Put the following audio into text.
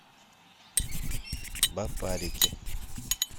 барбарики